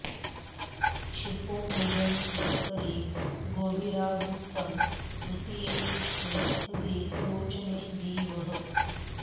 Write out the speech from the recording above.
क्षिपो॑ मृजन्ति॒ परि॒ गोभि॒रावृ॑तं तृ॒तीये॑ पृ॒ष्ठे अधि॑ रोच॒ने दि॒वः